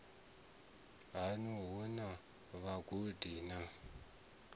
haṋu hu na vhagudi na